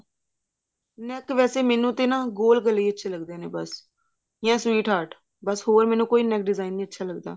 neck ਵੈਸੇ ਮੈਨੂੰ ਤੇ ਨਾ ਗੋਲ ਗਲੇ ਹੀ ਅੱਛੇ ਲੱਗਦੇ ਨੇ ਬੱਸ ਯਾ sweat heart ਬੱਸ ਮੈਨੂੰ ਹੋਰ ਕੋਈ neck design ਵਧੀਆ ਨੀ ਲੱਗਦਾ